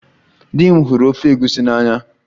Di m hụrụ ofe egusi n'anya